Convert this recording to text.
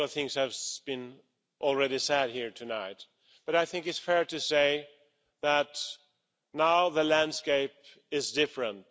A lot of things have already been said here tonight, but I think it's fair to say that now the landscape is different.